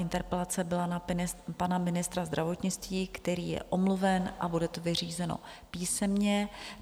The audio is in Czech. Interpelace byla na pana ministra zdravotnictví, který je omluven, a bude to vyřízeno písemně.